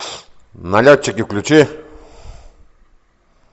налетчики включи